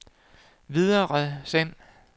videresend